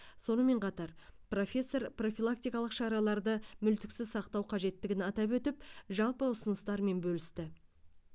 сонымен қатар профессор профилактикалық шараларды мүлтіксіз сақтау қажеттігін атап өтіп жалпы ұсыныстармен бөлісті